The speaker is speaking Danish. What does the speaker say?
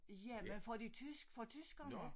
Ja men for de tysk for tyskerne